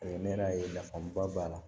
ne yɛrɛ y'a ye nafaba b'a la